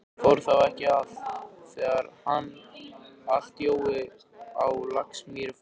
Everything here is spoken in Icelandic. Fór þá ekki allt, þegar hann Jói á Laxamýri fór?